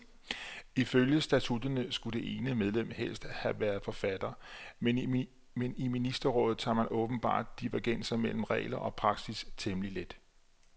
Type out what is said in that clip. Ifølge statutterne skulle det ene medlem helst have været forfatter, men i ministerrådet tager man åbenbart divergenser mellem regler og praksis temmelig let.